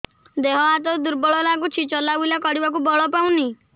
ଦେହ ହାତ ଦୁର୍ବଳ ଲାଗୁଛି ଚଲାବୁଲା କରିବାକୁ ବଳ ପାଉନି